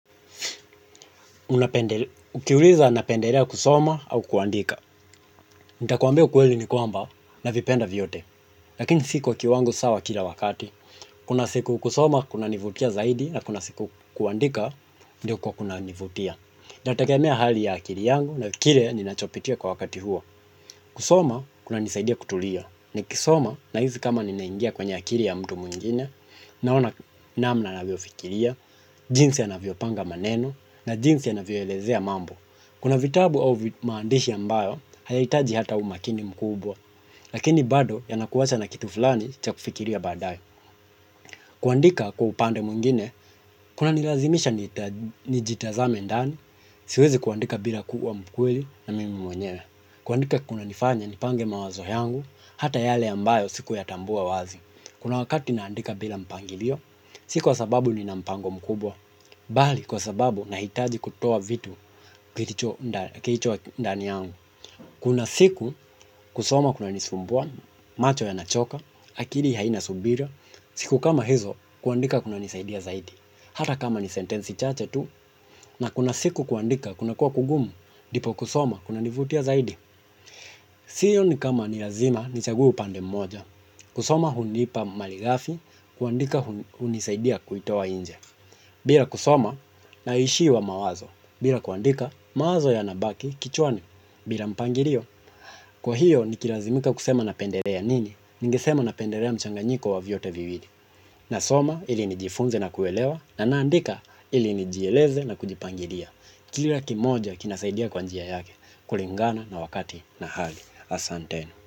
Ukiuliza napendelea kusoma au kuandika. Nitakuambia ukweli ni kwamba navipenda vyote. Lakini si kwa kiwango sawa kila wakati. Kuna siku kusoma kunanivutia zaidi na kuna siku kuandika ndio kwa kunanivutia. Itategemea hali ya akili yangu na kile ninachopitia kwa wakati huo. Kusoma kunanisaidia kutulia. Nikisoma nahisi kama ninaingia kwenye akili ya mtu mwingine. Naona namna navyofikiria. Jinsi anavyopanga maneno. Na jinsi anavyoelezea mambo. Kuna vitabu au maandishi ambayo, hayahitaji hata umakini mkubwa lakini bado yanakuacha na kitu fulani cha kufikiria baadaye kuandika kwa upande mwingine, kunanilazimisha nijitazame ndani siwezi kuandika bila kuwa mkweli na mimi mwenyewe kuandika kunanifanya nipange mawazo yangu, hata yale ambayo sikuyatambua wazi kuna wakati naandika bila mpangilio, si kwa sababu nina mpango mkubwa bali kwa sababu nahitaji kutoa vitu kilicho ndani yangu kuna siku kusoma kunanisumbua, macho yanachoka, akili haina subira siku kama hizo kuandika kunanisaidia zaidi hata kama ni sentensi chache tu na kuna siku kuandika kunakuwa kugumu, ndipo kusoma kunanivutia zaidi sioni kama ni lazima nichague upande mmoja kusoma hunipa malighafi, kuandika hunisaidia kuitoa nje bila kusoma, naishiwa mawazo. Bila kuandika, mawazo yanabaki kichwani. Bila mpangilio, kwa hiyo nikilazimika kusema napendelea nini. Ningesema napendelea mchanganyiko wa vyote viwili. Na soma, ili nijifunze na kuelewa. Na naandika, ili nijieleze na kujipangilia. Kila kimoja kinasaidia kwa njia yake. Kulingana na wakati na hali asanteni.